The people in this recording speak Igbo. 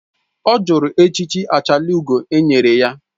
Ọ jụrụ echichi achalugo e nyere ya